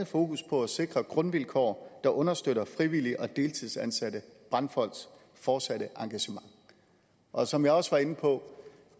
fokus på at sikre grundvilkår der understøtter frivillige og deltidsansatte brandfolks fortsatte engagement og som jeg også var inde på